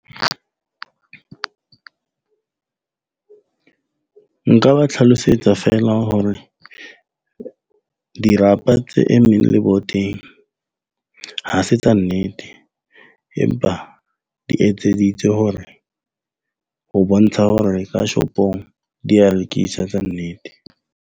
Nka ba tlhalosetsa feela hore dirapa tse emmeng leboteng ha se tsa nnete. Empa di etseditswe hore ho bontsha hore ka shop-ong di ya lokiswa tsa nnete.